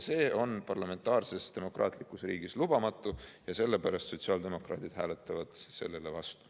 See on parlamentaarses demokraatlikus riigis lubamatu ja sellepärast sotsiaaldemokraadid hääletavad sellele vastu.